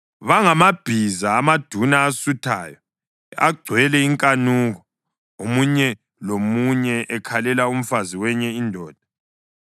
Bangamabhiza amaduna asuthayo, agcwele inkanuko, omunye lomunye ekhalela umfazi wenye indoda.